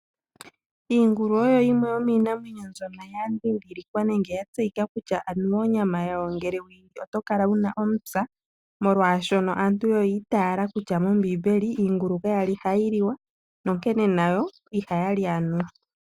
Iingulu oyo yimwe yo minamwenyeno mbyoka yadhidhilikwa nenge yatseyika kutya aniwa onyama yawo ngele weyili oto kala wuna omupya, molwashono aantu oyiiitala kutya mombimbeli iingulu kayali hayi liwa onkene nayo ihaya li aniwa.